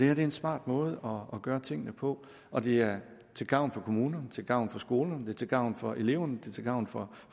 er en smart måde at gøre tingene på og det er til gavn for kommunerne til gavn for skolerne til gavn for eleverne til gavn for